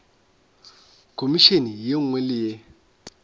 khomišene ye nngwe le ye